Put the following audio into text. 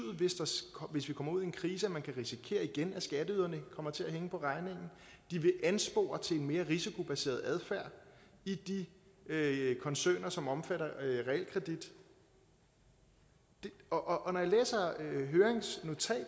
hvis vi kommer ud i en krise at man igen kan risikere at skatteyderne kommer til at hænge på regningen de vil anspore til en mere risikobaseret adfærd i de koncerner som omfatter realkredit og når